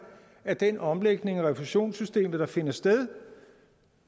af den omlægning af refusionssystemet der finder sted